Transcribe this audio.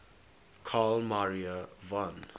carl maria von